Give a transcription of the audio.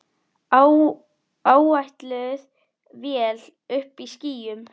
Áætluð vél uppí skýjum.